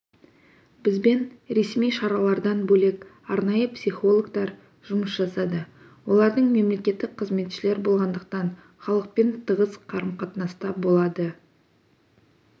бізбен ресми шаралардан бөлек арнайы психологтар жұмыс жасады олар мемлекеттік қызметшілер болғандықтан халықпен тығыз қарым-қатынаста болады